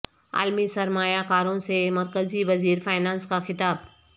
عالمی سرمایہ کاروں سے مرکزی وزیر فینانس کا خطاب